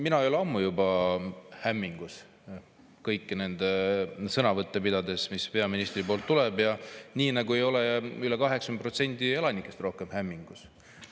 Mina ei ole ammu juba hämmingus kõiki neid sõnavõtte, mis peaministrilt tulevad, nagu ei ole üle 80% elanikest rohkem hämmingus.